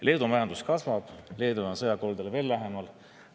Leedu majandus kasvab, aga Leedu on sõjakoldele veel lähemal.